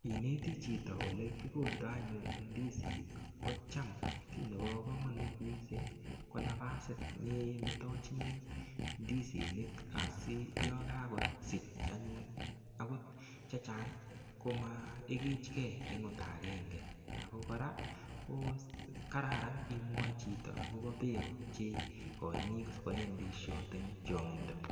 Ineti chito ole kikoldoi anyun ndisinik, ko cham kiy nebo komanut mising ko nafasit nenetachini ndisinik asi yo kakasich anyun chechang komaigichkei eng ota agenge. Ako kora ko kararan imwachi chito akobo beko chekoini sikoe ndishot eng chongindo.